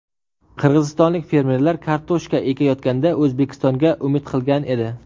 Qirg‘izistonlik fermerlar kartoshka ekayotganda O‘zbekistonga umid qilgan edi.